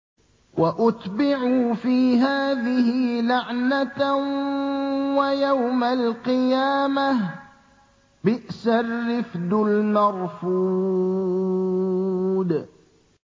وَأُتْبِعُوا فِي هَٰذِهِ لَعْنَةً وَيَوْمَ الْقِيَامَةِ ۚ بِئْسَ الرِّفْدُ الْمَرْفُودُ